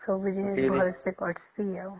କଁ ବୁଝିଲା ଭଲ୍ସେ କରିଛି ଆଉ